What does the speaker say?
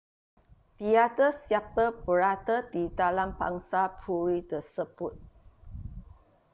tiada siapa berada di dalam pangsapuri tersebut